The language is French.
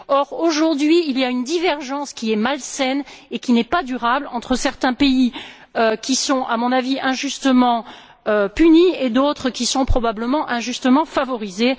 Or, aujourd'hui, il y a une divergence qui est malsaine et qui n'est pas durable entre certains pays qui sont, à mon avis, injustement punis et d'autres qui sont probablement injustement favorisés.